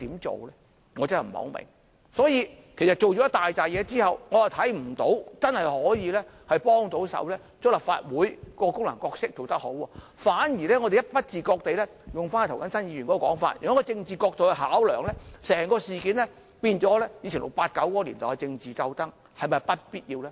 做了這許多工夫之後，我看不到真的可以令立法會把自己的功能和角色發揮得更好，反而不自覺地——引用涂謹申議員的說法——從政治角度考量，令整件事變成以往 "689" 年代的政治鬥爭，這是否必要呢？